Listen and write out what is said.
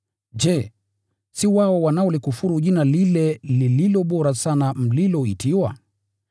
Je, si wao wanaolikufuru Jina lile lililo bora sana mliloitiwa?